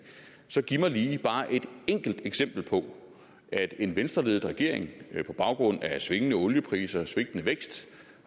så giv mig lige bare et enkelt eksempel på at en venstreledet regering på baggrund af svingende oliepriser og svigtende vækst